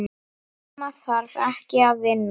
Amma þarf ekkert að vinna.